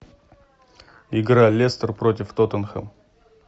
игра лестер против тоттенхэм